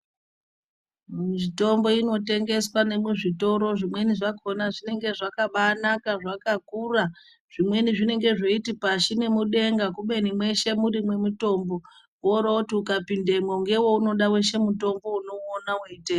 Mitombo inotengeswa nemuzvitoro zvimweni zvakona zvinenge zvakabanaka zvakakura zvimweni zvinenge zveiti pashi nemudenga kubeni mweshe muri mwemutombi woroti ukapindemwo ngeweunoda weshe mutombo unouona weitenga.